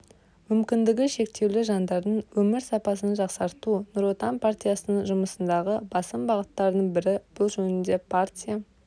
мүмкіндігі шектеулі жандардың өмір сапасын жақсарту нұр отан партиясының жұмысындағы басым бағыттардың бірі бұл жөнінде партия